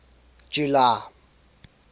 july